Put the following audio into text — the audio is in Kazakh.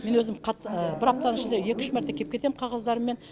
мен өзім бір аптаның ішінде екі үш мәрте кеп кетем қағаздарыммен